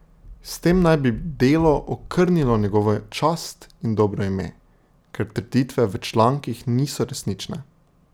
S tem naj bi Delo okrnilo njegovo čast in dobro ime, ker trditve v člankih niso resnične.